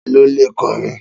Ta ló le kọrin?